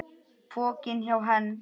Pokinn hjá Hend